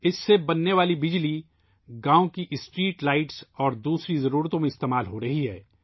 اس سے بننے والی بجلی گاؤں کی سڑکوں پر لگی لائٹوں اور دوسری ضرورتوں میں استعمال ہو رہی ہے